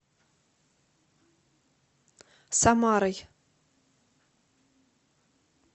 самарой